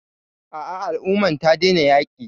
A'a, al umman ta daina yaƙi.